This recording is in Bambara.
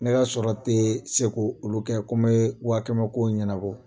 Ne k'a sɔrɔ tɛ se k'olu kɛ ko n bɛ waakɛmɛ kow ɲɛnabɔ